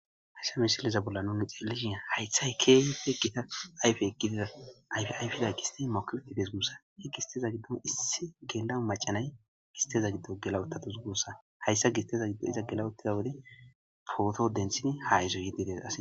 hayssa misiliza bolla nuni xeellishi haytha kehipe gita ayfe egidida ayfe ayfida gisti mokiweti des musa he gisteza giddon issi gendamu macanay gisteza giddo gelawotta tuzgussa hayssa gisteza giddo iza gelawottida wode pooto denthini ha izo yiddidesa